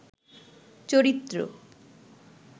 চরিত্র